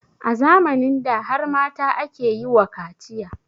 A zamanin da har mata ake yi wa kaciya